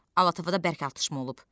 Alatovda bərk atışma olub.